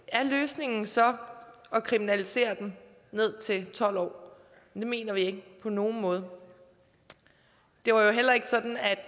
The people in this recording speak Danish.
er løsningen så at kriminalisere dem ned til tolv år det mener vi ikke på nogen måde det var jo heller ikke sådan at